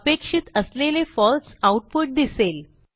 अपेक्षित असलेले फळसे आऊटपुट दिसेल